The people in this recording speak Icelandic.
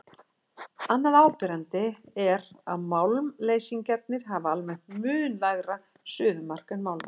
Annað áberandi er að málmleysingjarnir hafa almennt mun lægra suðumark en málmarnir.